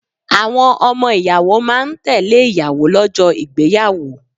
Àwọn ọmọ ìyàwó máa ń tẹ́lẹ̀ ìyàwó lọ́jọ́ ìgbéyàwó.